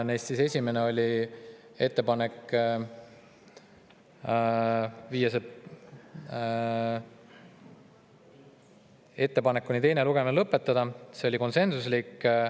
Neist esimene ettepanek oli teine lugemine lõpetada, see oli konsensuslik.